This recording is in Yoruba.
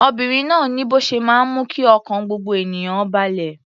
Obìnrin náà ni bó ṣe máa ń mú kí ọkàn gbogbo ènìyàn ó balẹ̀.